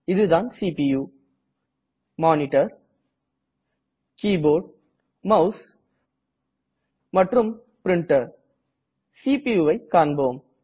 இது தான் CPU monitor keyboard mouse மற்றும் பிரின்டர் CPU வை காணலாம்